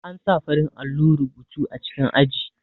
An sa farin allo rubutu a cikin aji